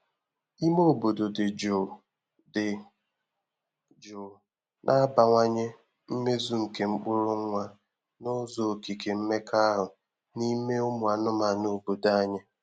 Ime obodo dị jụụ dị jụụ na-abawanye mmezu nke mkpụrụ nwa n’ụzọ okike mmekọahụ n’ime ụmụ anụmanụ obodo anyị.